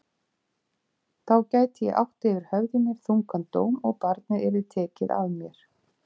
Þá gæti ég átt yfir höfði mér þungan dóm og barnið yrði tekið af mér.